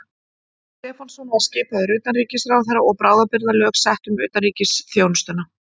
Stefánsson var skipaður utanríkisráðherra og bráðabirgðalög sett um utanríkisþjónustuna.